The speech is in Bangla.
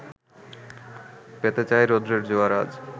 পেতে চায় রৌদ্রের জোয়ার আজ